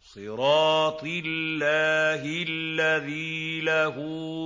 صِرَاطِ اللَّهِ الَّذِي لَهُ